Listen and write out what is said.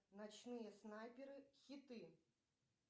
ночные снайперы хиты